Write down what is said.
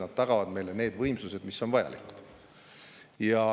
Need tagavad meile need võimsused, mis on vajalikud.